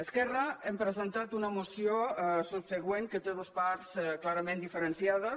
esquerra hem presentat una moció subsegüent que té dues part clarament diferenciades